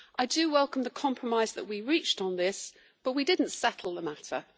I welcome the compromise that we reached on this, but we did not settle the matter.